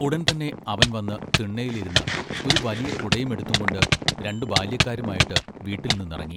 ഉടൻ തന്നെ അവൻ വന്ന് തിണ്ണേലിരുന്ന് ഒരു വലിയ കുടയുമെടുത്തുംകൊണ്ട് രണ്ട് ബാല്യക്കാരുമായിട്ട് വീട്ടിൽ നിന്നിറങ്ങി.